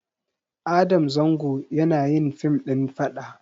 Adam zango yanayin fim ɗin faɗa